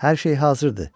Hər şey hazırdır,